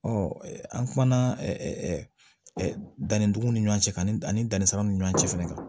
Ɔ an kumana danni dugumɔgɔ ni ɲɔgɔn cɛ ka ni ani danni sanw ni ɲɔgɔn cɛ fɛnɛ kan